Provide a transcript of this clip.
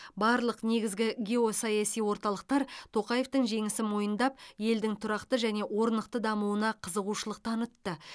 барлық негізгі геосаяси орталықтар тоқаевтың жеңісін мойындап елдің тұрақты және орнықты дамуына қызығушылық танытты